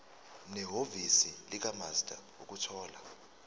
nehhovisi likamaster ukuthola